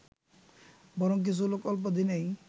বরং কিছু লোক অল্পদিনেই